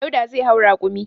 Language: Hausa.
Dauda zai hau rakumi.